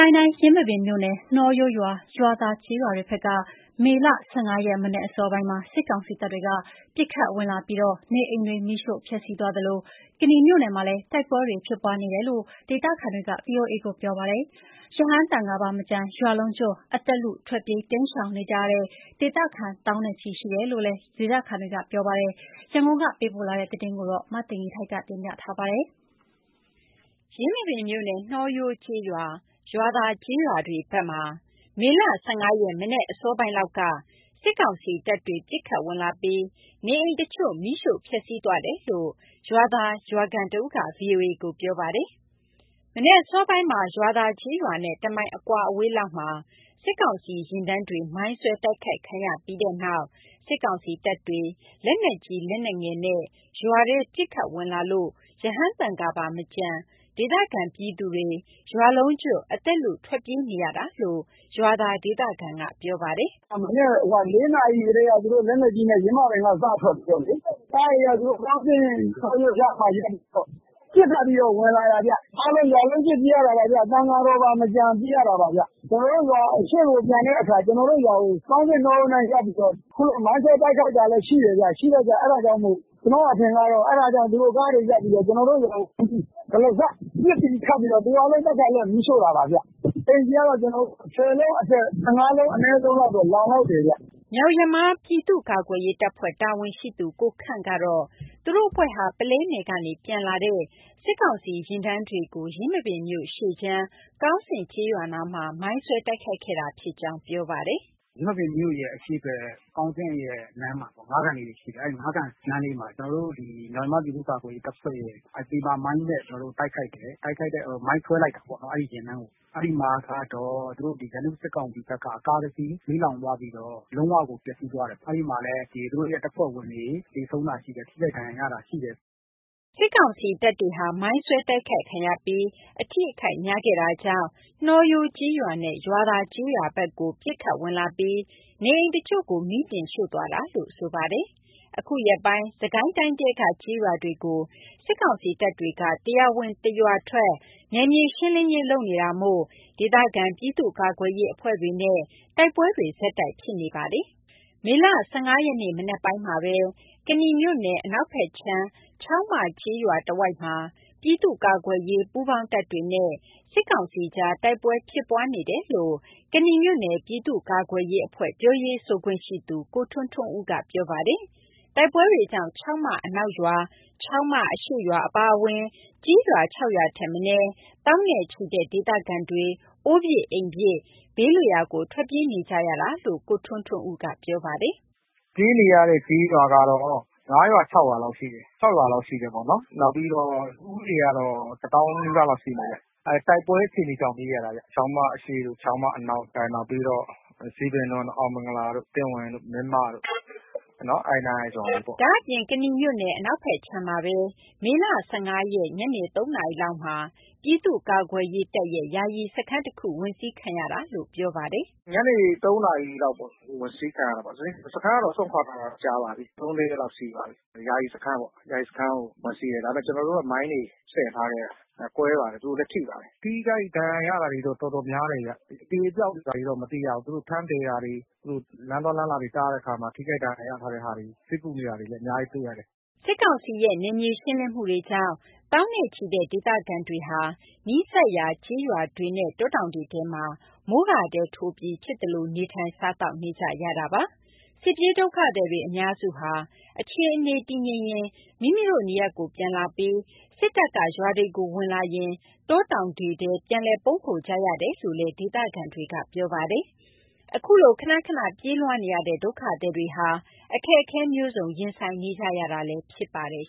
ိုင်းတိုင်း ယင်းမာပင်မြို့နယ် နှောရိုး၊ ရွာသာကျေးရွာတွေဘက် မေလ ၁၅ ရက် မနက်အစောပိုင်းက စစ်ကောင်စီတပ်တွေ ပစ်ခတ်ဝင်လာပြီး နေအိမ်တွေ မီးရှို့ဖျက်ဆီးသွားသလို ကနီမြို့နယ်မှာလည်း တိုက်ပွဲတွေ ဖြစ်ပွားနေတယ်လို့ ဒေသခံတွေက ဗွီအိုအေကို ပြောပါတယ်။ ရဟန်းသံဃာပါမကျန် ရွာလုံးကျွတ် အသက်လု ထွက်ပြေးတိမ်းရှောင်နေကြရတဲ့ ဒေသခံ သောင်းနဲ့ချီ ရှိနေတယ်လို့လည်း ပြောပါတယ်။ ရန်ကုန်ကပေးပို့တဲ့ သတင်းကို မသိဂီထိုက် တင်ပြပေးထားပါတယ်။ ယင်းမာပင်မြို့နယ် နှောရိုးကျေးရွာ၊ ရွာသာကျေးရွာတွေဘက် မေလ ၁၅ ရက် မနက်အစောပိုင်းလောက်က စစ်ကောင်စီတပ်တွေ ပစ်ခတ်ဝင်လာပြီး နေအိမ်တချို့ မီးရှို့ဖျက်ဆီးသွားတယ်လို့ ရွာသာရွာခံတဦးက ဗွီအိုအေကို ပြောပါတယ်။ မနက်အစောပိုင်းမှာ ရွာသာကျေးရွာနဲ့ တမိုင်အကွာအဝေးလောက်မှာ စစ်ကောင်စီယာဉ်တန်းတွေ မိုင်းဆွဲတိုက်ခိုက်ခံရပြီးတဲ့နောက် စစ်ကောင်စီတပ်တွေ လက်နက်ကြီး လက်နက်ငယ်နဲ့ ရွာထဲ ပစ်ခတ်ဝင်လာလို့ ရဟန်းသံဃာပါမကျန် ဒေသခံပြည်သူတွေ ရွာလုံးကျွတ် အသက်လု ထွက်ပြေးနေရတာလို့ ရွာသာဒေသခံက ပြောပါတယ်။ “မနက် ၄ နာရီကတည်းက သူတို့ လက်နက်ကြီးနဲ့ ယင်းမာပင်ကနေပြီးတော့လေ ကားတွေက သူတို့ ကောင်းဆင့်၊ နှောရိုးရောက်မှ ပစ်ခတ်ပြီးတော့ ဝင်လာတာဗျ။ အားလုံး ရွာလုံးကျွတ်ပြေးရတာပါဗျ၊ သံဃာတော်ပါမကျန် ပြေးရတာပါဗျ။ (စစ်ကောင်စီက) ကျနော်တို့ရွာကို အရှေ့ပြန်တဲ့အခါ ကျနော်တို့ရွာကို ကောင်းဆင့်၊ နှောရိုးနားကပ်ပြီးတော့ အခုလို မိုင်းဆွဲတိုက်ခိုက်တာလည်း ရှိတယ်ဗျ။ ရှိတော့ကျ အဲ့ဒါကြောင့်မို့ ကျနော်အထင်ကတော့ အဲ့ဒါကြောင့် သူတို့ကားတွေ ရပ်ပြီးတော့ ကျနော်တို့ရွာကို ဝင်ပြီး တရစပ် ပစ်ပြီးခတ်ပြီးတော့ သူတို့က အားလုံး ပတ်ချာလည် မီးရှို့တာပါဗျ။ အိမ်ခြေကတော့ ၁၀ လုံးအထက် ၁၅ လုံးအနည်းဆုံးတော့ လောင်လောက်တယ်ဗျ။” မြောက်ယမား ပြည်သူ့ကာကွယ်ရေးတပ်ဖွဲ့ တာဝန်ရှိသူ ကိုခန့်ကတော့ သူတို့အဖွဲ့ဟာ ပုလဲနယ်ကနေ ပြန်လာတဲ့ စစ်ကောင်စီယာဉ်တန်းတွေကို ယင်းမာပင်မြို့အရှေ့ခြမ်း ကောင်းဆင့်ကျေးရွာနားမှာ မိုင်းဆွဲတိုက်ခိုက်ခဲ့တာ ဖြစ်ကြောင်း ပြောပါတယ်။ “ယင်းမာပင်မြို့ရဲ့ အရှေ့ဘက် ကောင်းဆင့်ရဲ့ လမ်းမှာပေါ့၊ ငါးကန်လေးတွေရှိတယ်၊ အဲ့ငါးကန်နားလေးမှာ ကျနော်တို့ ဒီ မြောက်ယမား ပြည်သူ့ကာကွယ်ရေးတပ်ဖွဲ့ရဲ့ ပဒေသာမိုင်းနဲ့ ကျနော်တို့ တိုက်ခိုက်တယ်၊ မိုင်းဆွဲလိုက်တာပေါ့နော် အဲ့ဒီယာဉ်တန်းကို။ အဲ့ဒီမှာကတော့ သူတို့ ဒီ ရန်သူ့စစ်ကောင်စီဘက်က ကားတစီး မီးလောင်သွားပြီးတော့ လုံးဝကို ပျက်စီးသွားတယ်ပေါ့။ အဲ့ဒီမှာလည်း သူတို့ရဲ့တပ်ဖွဲ့ဝင်တွေ သေဆုံးတာရှိတယ်။ ထိခိုက်ဒဏ်ရာရတာရှိတယ်။” စစ်ကောင်စီတပ်တွေဟာ မိုင်းဆွဲတိုက်ခိုက်ခံရပြီး အထိအခိုက် များခဲ့တာကြောင့် နှောရိုးကျေးရွာနဲ့ ရွာသာကျေးရွာဘက်ကို ပစ်ခတ်ဝင်လာပြီး နေအိမ်တချို့ကို မီးတင်ရှို့သွားတာလို့ ဆိုပါတယ်။ အခုရက်ပိုင်း စစ်ကိုင်းတိုင်းထဲက ကျေးရွာတွေကို စစ်ကောင်စီတပ်တွေက တရွာဝင် တရွာထွက် နယ်မြေရှင်းလင်းရေး လုပ်နေတာမို့ ဒေသခံ ပြည်သူ့ကာကွယ်ရေးအဖွဲ့တွေနဲ့ တိုက်ပွဲတွေ ဆက်တိုက်ဖြစ်နေပါတယ်။ မေလ ၁၅ ရက်နေ့ မနက်ပိုင်းမှာပဲ ကနီမြို့နယ် အနောက်ဘက်ခြမ်း ချောင်းမကျေးရွာတဝိုက်မှာ ပြည်သူ့ကာကွယ်ရေး ပူးပေါင်းတပ်တွေနဲ့ စစ်ကောင်စီအကြား တိုက်ပွဲဖြစ်ပွားနေတယ်လို့ ကနီမြို့နယ် ပြည်သူ့ကာကွယ်ရေးအဖွဲ့ ပြောရေးဆိုခွင့်ရှိသူ ကိုထွန်းထွန်းဦးက ပြောပါတယ်။ တိုက်ပွဲတွေကြောင့် ချောင်းမအနောက်ရွာ၊ ချောင်းမအရှေ့ရွာ အပါအဝင် ကျေးရွာ ၆ ရွာထက်မနည်း သောင်းနဲ့ချီတဲ့ ဒေသခံတွေ အိုးပစ်အိမ်ပစ် ဘေးလွတ်ရာကို ထွက်ပြေးနေကြတာလို့ ကိုထွန်းထွန်းဦးက ပြောပါတယ်။ “ပြေးနေရတဲ့ ကျေးရွာကတော့ ၅ ရွာ၊ ၆ ရွာလောက်ရှိတယ်။ နောက်ပြီးတော့ ဦးရေကတော့ တသောင်းနီးပါးလောက် ရှိမယ်ဗျ။ တိုက်ပွဲအခြေအနေကြောင့် ပြေးရတာပါဗျ။ ချောင်းမအရှေ့တို့ ချောင်းမအနောက်၊ နောက်ပြီးတော့ ဇီးပင်၊ အောင်မင်္ဂလာတို့ သင့်ဝင်တို့ မင်းမတို့ပေါ့နော် အဲ့နားက ရွာတွေပေါ့။” ဒါ့အပြင် ကနီမြို့နယ် အနောက်ဘက်ခြမ်းမှာပဲ မေလ ၁၅ ရက် ညနေ ၃ နာရီလောက်မှာ ပြည်သူ့ကာကွယ်ရေးတပ်ရဲ့ ယာယီစခန်းတခု ဝင်စီးခံရတာလို့ ပြောပါတယ်။ “ညနေ ၃ နာရီလောက်ပေါ့ ဝင်စီးခံရပါတယ်။ စခန်းကတော့ စွန့်ခွာထားတာကြာပါပြီ၊ သုံးလေးရက်လောက်ရှိပါပြီ။ ယာယီစခန်းပေါ့၊ ယာယီစခန်းကို ဝင်စီးတယ်။ ဒါပေမဲ့ ကျနော်တို့က မိုင်းတွေဆင်ထားခဲ့တယ်။ ကွဲပါတယ်၊ သူတို့လည်း ထိပါတယ်။ ထိခိုက်ဒဏ်ရာရတာတော့ တော်တော်များတယ်ဗျ။ အသေအပျောက်တွေဘာတွေ မသိရဘူး။ သူတို့ထမ်းသယ်တာတွေ သူတို့ လမ်းသွားလမ်းလာတွေ တားတဲ့အခါမှာ ထိခိုက်ဒဏ်ရာ ရထားတဲ့ဟာတွေ ဆေးကုနေတာတွေလည်း အများကြီးတွေ့ရတယ်။” စစ်ကောင်စီရဲ့ နယ်မြေရှင်းလင်းမှုတွကြောင့် သောင်းနဲ့ချီတဲ့ ဒေသခံတွေဟာ နီးစပ်ရာ ကျေးရွာတွေနဲ့ တောတောင်တွေထဲမှာ မိုးကာတဲထိုးပြီး ဖြစ်သလို နေထိုင် စားသောက်နေကြရတာပါ။ စစ်ပြေးဒုက္ခသည်တွေ အများစုဟာ အခြေအနေတည်ငြိမ်ရင် မိမိတို့နေရပ်ကို ပြန်လာပြီး စစ်တပ်က ရွာတွေကို ဝင်လာရင် တောတောင်တွေထဲ ပြန်လည်ပုန်းခိုကြရတယ်လို့လည်း ဒေသခံတွေက ပြောပါတယ်။ အခုလို ခဏခဏ ပြေးလွှားနေရတဲ့ ဒုက္ခသည်တွေဟာ အခက်အခဲမျိုးစုံ ရင်ဆိုင်နေကြရတာ ဖြစ်ပါတယ်